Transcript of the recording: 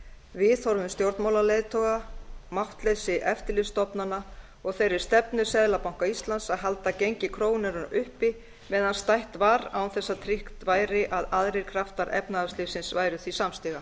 viðhorfum stjórnmálaleiðtoga máttleysi eftirlitsstofnana og þeirri stefnu seðlabanka íslands að halda gengi krónunnar uppi meðan stætt var án þess að tryggt væri að aðrir kraftar efnahagslífsins væru því samstiga